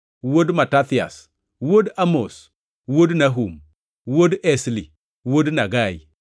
wuod Matathias, wuod Amos, wuod Nahum, wuod Esli, wuod Nagai,